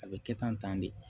A bɛ kɛ tan tan de